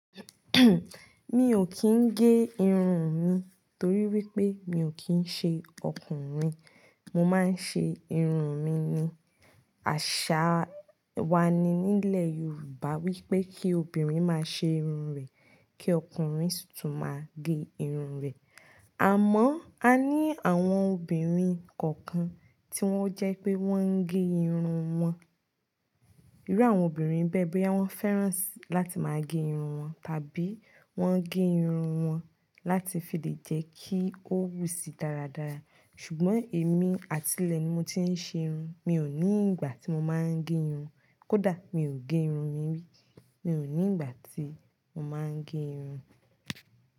Mi ò kí n gé irun mi torí wípé mi ò kín ń ṣe ọkùnrin. Mo máa ń ṣe irun mi ni. Àṣà wa ni nílẹ̀ Yorùbá wípé kí obìnrin máa ṣe irun rẹ̀ kí ọkùnrin sì tún máa gé irun rẹ̀. Àmọ́ a ní àwọn obìnrin kọ̀ọ̀kan tí wón jẹ́ pé wón ń gé irun wọn. Irú àwọn obìnrin bẹ́ẹ̀ bóyá wọ́n wọ́n fẹ́ràn láti máa gé irun wọn tàbí wón ń gé irun wọn láti fi lè jẹ́ kí ó wù síi dáradára. Ṣùgbọ́n èmi, àtilẹ̀ ni mo ti ń ṣe irun, mi ò ní ìgbà tí mo máa ń gé irun. Kódà mi ò gé irun mi rí, mi ò ní ìgbà tí mo máa ń gé irun.